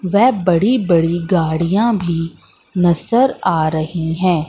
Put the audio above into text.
व बड़ी बड़ी गाड़ियां भी नजर आ रही हैं।